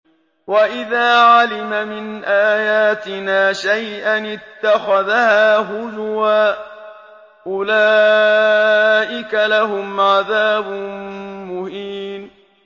وَإِذَا عَلِمَ مِنْ آيَاتِنَا شَيْئًا اتَّخَذَهَا هُزُوًا ۚ أُولَٰئِكَ لَهُمْ عَذَابٌ مُّهِينٌ